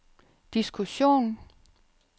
diskussion